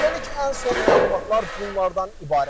Hələlik ən son məlumatlar bunlardan ibarətdir.